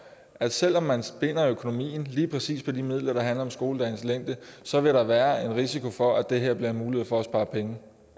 at selv om man binder økonomien lige præcis på de midler der handler om skoledagens længde så vil der være en risiko for at det her bliver en mulighed for at spare penge